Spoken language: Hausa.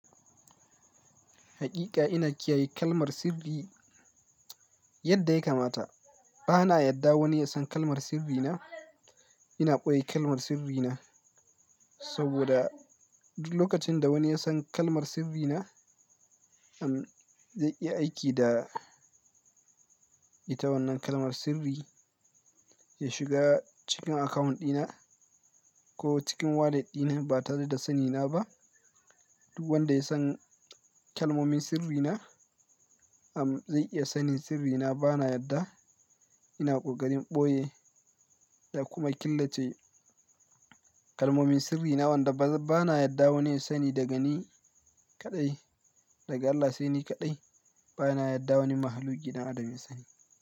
Haƙiƙa ina kiyaye kalmar sirri yadda ya kamata. Bana yadda wani ya san kalmar sirri na. Ina ɓoye kalmar sirri na saboda duk lokacin da wani ya san kalmar sirri na, am, zai iya aiki da ita wannan kalmar sirri ya shiga cikin akawunt ɗina ko cikin wallet ɗina ba tare da sani na ba. Duk wanda ya san kalmomin sirri na, am, zai iya sanin sirri na. Bana yadda. Ina ƙoƙarin ɓoye da kuma killace kalmomin sirri na. Wanda bana yadda wani ya sani daga ni kaɗai. Daga Allah sai ni kaɗai. Bana yadda wani mahaluki dan adamin yasani.